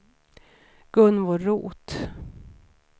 Gunvor Roth